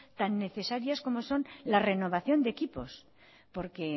tan necesarias como son la renovación de equipos porque